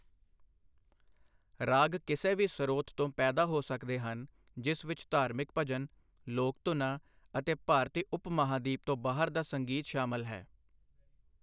ਰਾਗ ਕਿਸੇ ਵੀ ਸਰੋਤ ਤੋਂ ਪੈਦਾ ਹੋ ਸਕਦੇ ਹਨ, ਜਿਸ ਵਿੱਚ ਧਾਰਮਿਕ ਭਜਨ, ਲੋਕ ਧੁਨਾਂ ਅਤੇ ਭਾਰਤੀ ਉਪ ਮਹਾਂਦੀਪ ਤੋਂ ਬਾਹਰ ਦਾ ਸੰਗੀਤ ਸ਼ਾਮਲ ਹੈ।